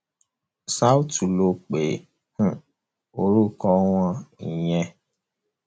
south ló pe um orúkọ wọn ìyẹn